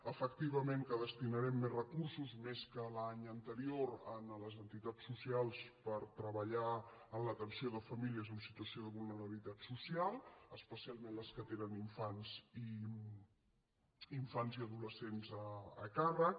efectivament que destinarem més recursos més que l’any anterior a les entitats socials per treballar en l’atenció de famílies en situació de vulnerabilitat social especialment les que tenen infants i adolescents a càrrec